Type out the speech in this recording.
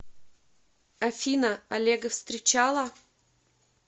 афина олега встречала